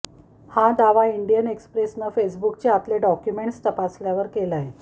हा दावा इंडियन एक्सप्रेसनं फेसबुकचे आतले डाॅक्युमेंट्स तपासल्यावर केलाय